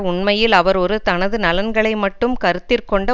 உண்மையில் அவர் ஒரு தனது நலன்களை மட்டும் கருத்திற்கொண்ட